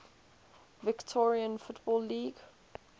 victorian football league